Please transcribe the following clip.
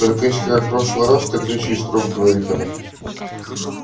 только если как в прошлый раз ты кричи строго говорит она